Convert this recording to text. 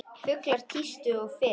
Fuglar tístu sem fyrr.